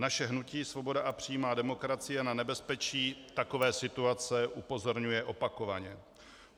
Naše hnutí Svoboda a přímá demokracie na nebezpečí takové situace upozorňuje opakovaně.